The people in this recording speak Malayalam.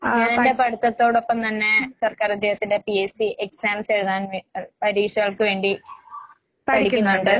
ഞാനെന്റെ പഠിത്തത്തോടൊപ്പം തന്നെ സർക്കാരുദ്യോഗത്തിന്റെ പിഎസ്‌സി എക്സാംസ് എഴുതാൻ വേ അൽ പരീക്ഷകൾക്ക് വേണ്ടി പഠിക്കുന്നൊണ്ട്.